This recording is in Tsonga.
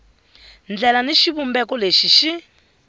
ndlela ni xivumbeko lexi xi